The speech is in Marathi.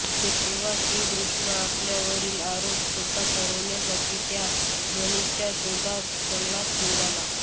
तेव्हा श्रीकृष्ण आपल्यावरील आरोप खोटा ठरवण्यासाठी त्या मनीच्या शोधात जंगलात निघाला